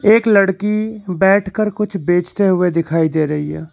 एक लड़की बैठकर कुछ बेचते हुए दिखाई दे रही है।